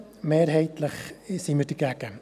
Mehrheitlich sind wir dagegen.